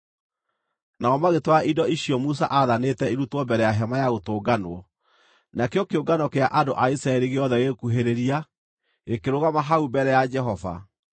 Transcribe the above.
Nao magĩtwara indo icio Musa aathanĩte irutwo mbere ya Hema-ya-Gũtũnganwo, nakĩo kĩũngano kĩa andũ a Isiraeli gĩothe gĩgĩkuhĩrĩria, gĩkĩrũgama hau mbere ya Jehova.